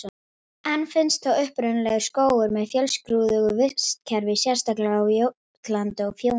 Enn finnast þó upprunalegir skógar með fjölskrúðugu vistkerfi, sérstaklega á Jótlandi og Fjóni.